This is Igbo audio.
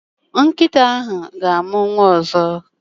Nkịta ahụ ga-amụ nwa ọzọ.